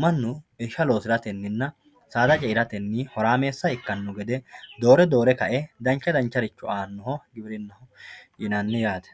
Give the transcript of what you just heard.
manu irisha loosiratenna saada ce'irate horameessa ikkano gede doore doore ka'e dancha dancharicho aanoha giwirinnaho yinanni yaate.